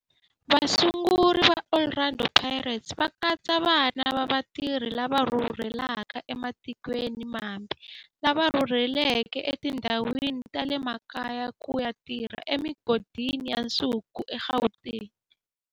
Vasunguri va Orlando Pirates va katsa vana va vatirhi lava rhurhelaka ematikweni mambe lava rhurheleke etindhawini ta le makaya ku ya tirha emigodini ya nsuku eGauteng.